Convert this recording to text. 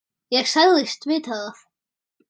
Ég sagðist vita það.